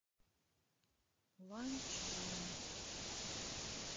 ланчжун